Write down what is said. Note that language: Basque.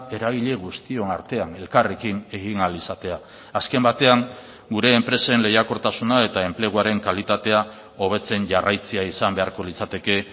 eragile guztion artean elkarrekin egin ahal izatea azken batean gure enpresen lehiakortasuna eta enpleguaren kalitatea hobetzen jarraitzea izan beharko litzateke